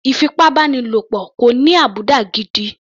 Ìfipábánilo kò ní àbùdá gidi.